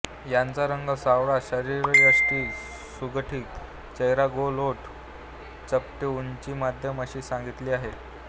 यांचा रंग सावळा शरीरयष्टी सुगठीत चेहरा गोल ओठ चपटे उंची मध्यम अशी सांगितली आहे